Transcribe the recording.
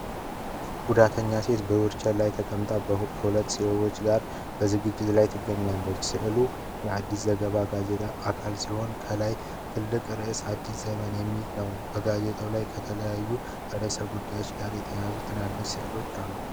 ጉዳተኛ ሴት በዊልቸር ላይ ተቀምጣ ከሁለት ሰዎች ጋር በዝግጅት ላይ ትገኛለች። ሥዕሉ የ"አዲስ ዘይቤ" ጋዜጣ አካል ሲሆን ከላይ ትልቁ ርዕስ "አዲስ ዘመን" የሚል ነው። በጋዜጣው ላይ ከተለያዩ ርዕሰ ጉዳዮች ጋር ሌሎች ትናንሽ ሥዕሎችም አሉ።